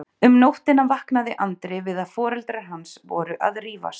Um nóttina vaknaði Andri við að foreldrar hans voru að rífast.